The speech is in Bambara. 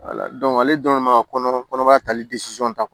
ale dɔrɔn de ma kɔnɔbara tali ta